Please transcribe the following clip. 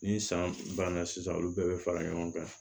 Ni san banna sisan olu bɛɛ bɛ fara ɲɔgɔn kan